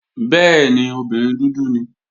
Bẹ́ẹ̀ni, obìnrin dúdú ni.